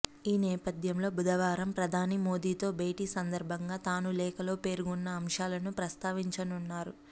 ఈ నేపథ్యంలో బుధవారం ప్రధాని మోదీతో భేటీ సందర్భంగా తాను లేఖలో పేర్కొన్న అంశాలను ప్రస్తావించనున్నారు